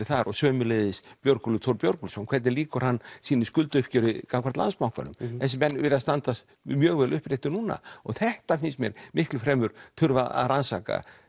þar og sömuleiðis Björgólfur Thor Björgólfsson hvernig lýkur hann sínu skuldauppgjöri gagnvart Landsbankanum þessir menn virðast standa mjög vel uppréttir núna þetta finnst mér miklu fremur þurfa að rannsaka